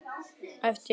æpti hún.